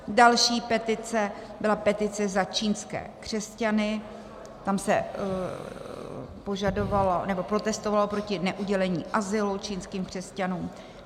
Další petice byla petice za čínské křesťany, tam se protestovalo proti neudělení azylu čínským křesťanům.